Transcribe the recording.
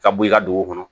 Ka bɔ i ka dugu kɔnɔ